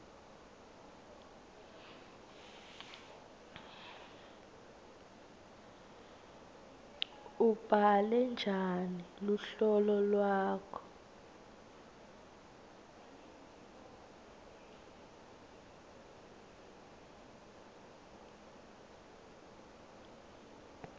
ubhale njani luhlolo lwakho